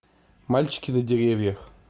мальчики на деревьях